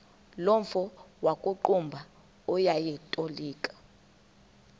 nomfo wakuqumbu owayetolika